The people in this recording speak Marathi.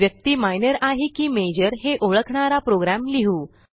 व्यक्ती मायनर आहे की माजोर हे ओळखणारा प्रोग्रॅम लिहू